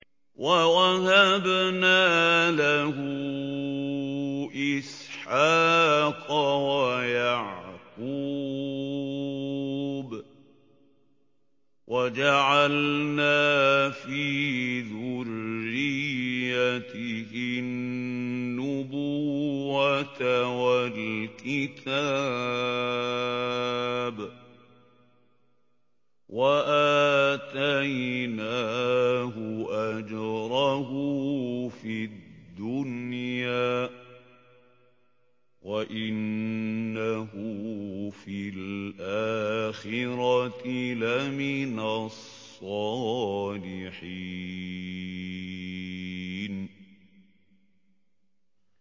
وَوَهَبْنَا لَهُ إِسْحَاقَ وَيَعْقُوبَ وَجَعَلْنَا فِي ذُرِّيَّتِهِ النُّبُوَّةَ وَالْكِتَابَ وَآتَيْنَاهُ أَجْرَهُ فِي الدُّنْيَا ۖ وَإِنَّهُ فِي الْآخِرَةِ لَمِنَ الصَّالِحِينَ